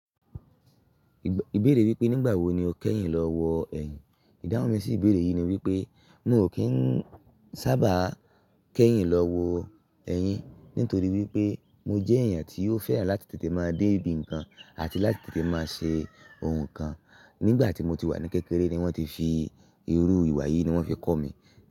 Ìbéèrè wípé nígbà wo ni o kẹ́yìn lọ́wọ́ ẹ̀yin, ìdáhùn mi sí ìbéèrè yìí ni wípé mi ò kí ń sábà kẹ́yìn lọ́wọ́ ẹ̀yin nítorí wípé mo jẹ́ ẹ̀yàn tí ó fẹ́ràn láti tètè máa dé ibi ǹkan àti láti tètè máa ṣe ohun kan. Nígbà tí mo ti wà ní kékeré ni wọ́n ti fi irú ìwà yìí ni wọ́n fi kọ̀ mi.